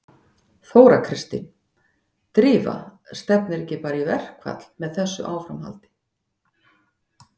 Þóra Kristín: Drífa stefnir ekki bara í verkfall með þessu áframhaldi?